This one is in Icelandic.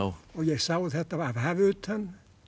ég sjá þetta af hafi utan